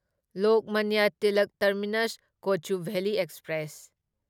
Lokmanya Tilak terminus Kochuveli express